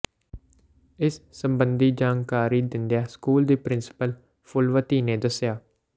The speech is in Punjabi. ਇਸ ਸਬੰਧੀ ਜਾਣਕਾਰੀ ਦਿੰਦਿਆਂ ਸਕੂਲ ਦੀ ਪਿ੍ਰੰਸੀਪਲ ਫੂਲਵਤੀ ਨੇ ਦੱਸਿਆ